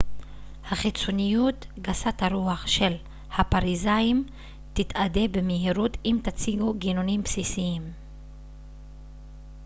החיצוניות גסת הרוח של הפריזאים תתאדה במהירות אם תציגו גינונים בסיסיים